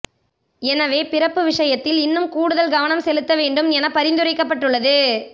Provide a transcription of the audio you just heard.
எனவே பிறப்பு விஷயத்தில் இன்னும் கூடுதல் கவனம் செலுத்த வேண்டும் என பரிந்தரைக்கப்பட்டுள்ளது